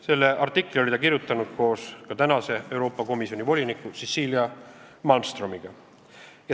Selle artikli oli ta kirjutanud koos tänase Euroopa Komisjoni voliniku Cecilia Malmströmiga.